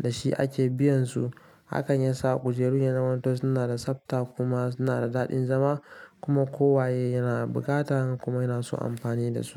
da shi ake biyan su. Hakan ya sa kujerun ya zamanto suna da tsafta kuma suna da dadin zama. Kuma kowaye yana buƙatan kuma yana son amfani da su.